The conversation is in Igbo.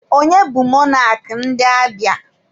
Onye bụ mọnak ndị Abịa?